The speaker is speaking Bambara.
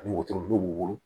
Ani wotoro b'i bolo